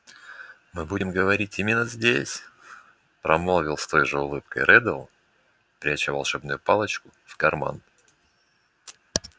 мы будем говорить именно здесь промолвил с той же улыбкой реддл пряча волшебную палочку в карман